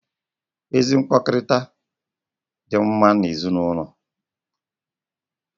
Ezi mkpakọrịta dị mma n'ezinụlọ